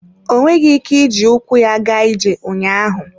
Ọ nweghị ike iji ụkwụ ya gaa ije ụnyaahụ.